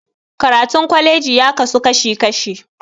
Karatun kwalaji ya kasu kashi kashi